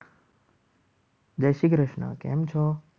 જય શ્રી કૃષ્ણ કેમ છો?